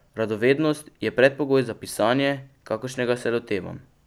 Radovednost je predpogoj za pisanje, kakršnega se lotevam.